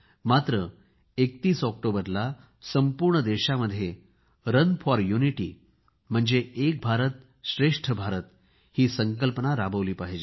मात्र 31 ऑक्टोबरला संपूर्ण देशामध्ये रन फॉर युनिटी म्हणजे एक भारतश्रेष्ठ भारत ही संकल्पना राबवली पाहिजे